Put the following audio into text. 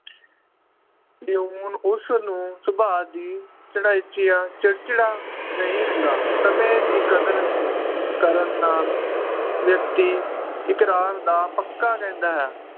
ਉਸਨੂੰ ਸੁਭਾਅ ਦੀ ਚਿੜਚਿਆਂ ਚਿੜਚਿੜਾ ਨਹੀ ਹੁੰਦਾ ਸਮੇ ਦੀ ਕਦਰ ਕਰਨ ਨਾਲ ਵ੍ਯਕ੍ਤਿ ਇਕਰਾਰ ਦਾ ਪੱਕਾ ਕਹਿੰਦਾ ਹੈ